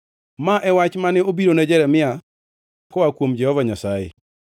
Ma e wach mane obirone Jeremia koa kuom Jehova Nyasaye: